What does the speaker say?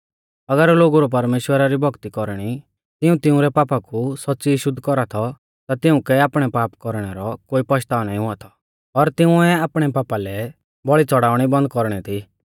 अगर लोगु रौ परमेश्‍वरा री भौक्ती कौरणी तिऊं तिउंरै पापा कु सौच़्च़ी शुद्ध कौरा थौ ता तिउंकै आपणै पाप कौरणै रौ कोई पश्ताव नाईं हुआ थौ और तिंउऐ आपणै पापा लै बौल़ी च़ौड़ाउणी बन्द कौरणी थी